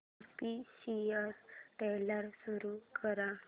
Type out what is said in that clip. official trailer सुरू कर